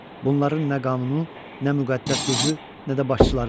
Bunların nə qanunu, nə müqəddəs sözü, nə də başçıları var.